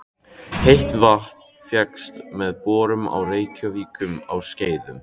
Heitt vatn fékkst með borun á Reykjum á Skeiðum.